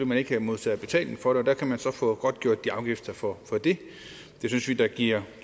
man ikke modtager betaling for det der kan man så få godtgjort afgifterne for det det synes vi da giver